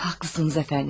Haqlısınız əfəndim.